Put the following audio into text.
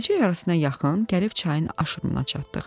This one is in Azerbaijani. Gecə yarısına yaxın gəlib çayın aşırımına çatdıq.